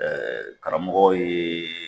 karamɔgɔ ye